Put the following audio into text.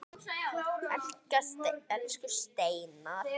Elsku Steina.